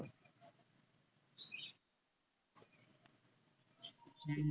हम्म